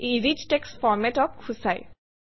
ই rich text Format অক সূচায়